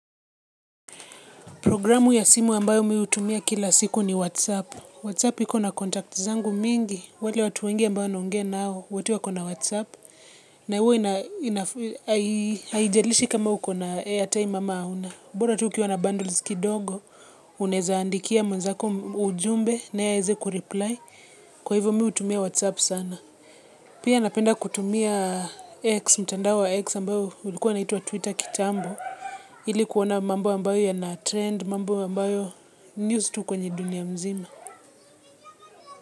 Programu ya simu ambayo mi hutumia kila siku ni Whatsapp. Whatsapp iko na kontakti zangu mingi. Wale watu wengi ambao naongea nao. Wote wako na Whatsapp. Na huwa na haijalishi kama uko na airtime ama hauna. Bora tu ukiwa na bundles kidogo. Unaezaandikia mwenzako ujumbe naye aeze kureply. Kwa hivo mi hutumia Whatsapp sana. Pia napenda kutumia X. Mtandao wa X ambao ulikuwa unaitwa Twitter kitambo. Hili kuona ambayo yana trend. Mambo ambayo, news tu kwenye dunia mzima.